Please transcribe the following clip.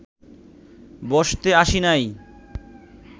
বসতে আসি নাই